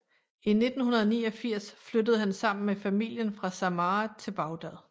I 1989 flyttede han sammen med familien fra Samarra til Bagdhad